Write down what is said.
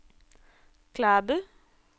Klæbu